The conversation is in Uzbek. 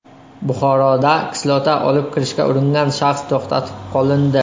Buxoroda kislota olib kirishga uringan shaxs to‘xtatib qolindi.